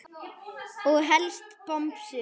Og helst bomsur.